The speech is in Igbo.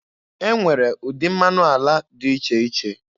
E nwere ụdị mmanụ ala dị iche iche.